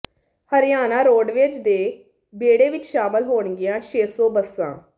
Haryana roadways ਦੇ ਬੇੜੇ ਵਿੱਚ ਸ਼ਾਮਲ ਹੋਣਗੀਆਂ ਛੇ ਸੌ ਬੱਸਾਂ